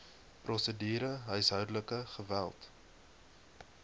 prosedure huishoudelike geweld